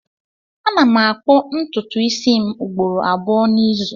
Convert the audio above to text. Ana m akpụ ntụtụ isi m ugboro abụọ n'izu